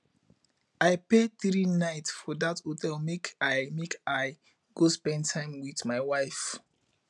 i pay three night for dat hotel make i make i go spend time wit my wife